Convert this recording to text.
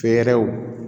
Fɛɛrɛw